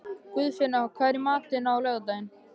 Guðfinna, hvað er í matinn á laugardaginn?